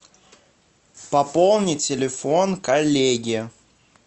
пополни телефон коллеге